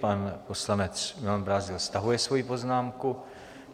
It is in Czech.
Pan poslanec Milan Brázdil stahuje svoji poznámku.